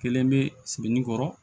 Kelen bɛ segin kɔrɔ